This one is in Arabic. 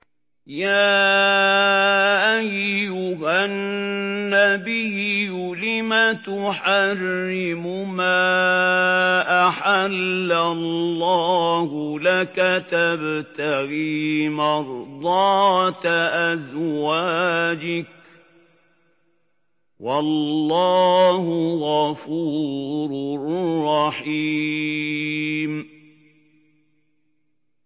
يَا أَيُّهَا النَّبِيُّ لِمَ تُحَرِّمُ مَا أَحَلَّ اللَّهُ لَكَ ۖ تَبْتَغِي مَرْضَاتَ أَزْوَاجِكَ ۚ وَاللَّهُ غَفُورٌ رَّحِيمٌ